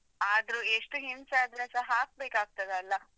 ಹ್ಮ್ಮ್ ಆದ್ರು ಎಷ್ಟು ಹಿಂಸೆ ಅದ್ರೆಸಾ ಹಾಕ್ಬೇಕಾಗ್ತದೆ ಅಲ್ಲಾ.